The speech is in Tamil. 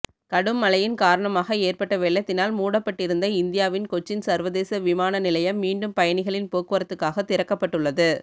கடும் மழையின் காரணமாக ஏற்பட்ட வெள்ளத்தினால் மூடப்பட்டிருந்த இந்தியாவின் கொச்சின் சர்வதேச விமான நிலையம் மீண்டும் பயணிகளின் போக்குவரத்துக்காக திறக்கப்பட்டுள்ளது